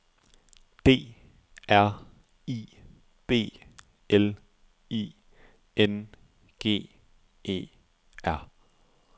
D R I B L I N G E R